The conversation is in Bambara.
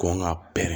Kɔn ŋa pɛrɛn